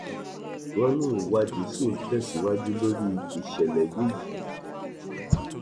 wọn ní ìwádìí ṣì ń tẹsíwájú lórí ìṣẹlẹ yìí yìí